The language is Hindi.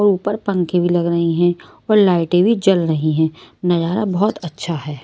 और ऊपर पंखे भी लग रही हैं और लाइटें भी जल रही हैं नजारा बहुत अच्छा है।